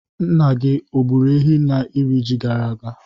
Nna gị o gburu ehi n'iri ji gara aga?